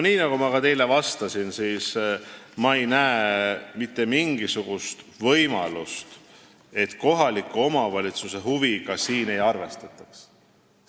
Nii nagu ma ka teile vastasin, ma ei näe mitte mingisugust võimalust, et kohaliku omavalitsuse huvidega siin ei arvestataks.